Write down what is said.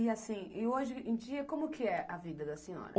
E assim, e hoje em dia, como que é a vida da senhora?